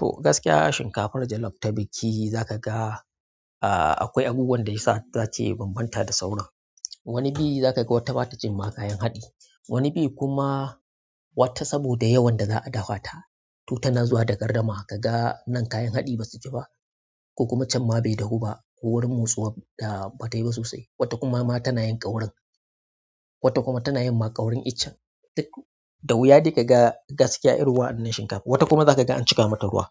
To gaskiya shinkafar jalof ta biki za kaga, a-a akwai abubuwan da ya sa za ta bambanta da sauran. Wani biyi za ka ga wata bata jin ma kayan haɗi, wani biyi kuma wata saboda yawan da za a dafa ta, to tana zuwa da gardama ka ga nan kayan haɗi ba su ji ba, ko kuma can ma bai da huɓa ko wurin motsowa da bata yi ba sosai. Wata kuma ma tana yin ƙaurin, wata kuma tana yin ma ƙaurin ichin. Duk da wuya dai ka ga gaskiya irin wa'annan shinkafun. Wata kuma za ka ga an cika mata ruwa,